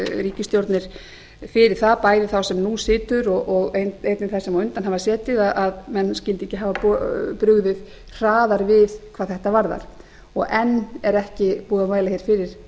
ríkisstjórnir fyrir það bæði þá sem nú situr og einnig þær sem á undan hafa setið að menn skyldu ekki hafa brugðið hraðar við hvað þetta varðar og enn er ekki búið að mæla fyrir